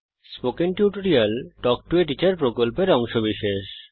spoken tutorial talk to a teacher প্রকল্পের অংশবিশেষ